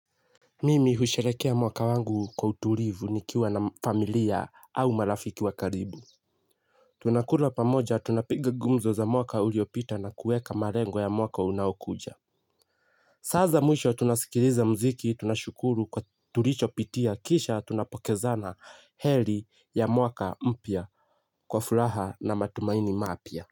Mimi husherekea mwaka wangu kwa utulivu nikiwa na familia au marafiki wa karibu. Tunakula pamoja, tunapiga gumzo za mwaka uliopita na kueka malengo ya mwaka unaokuja. Saa za mwisho tunasikiliza mziki, tunashukuru kwa tulichopitia, kisha tunapokezana heri ya mwaka mpya kwa furaha na matumaini mapya.